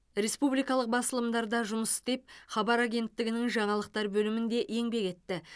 республикалық басылымдарда жұмыс істеп хабар агенттігінің жаңалықтар бөлімінде еңбек етті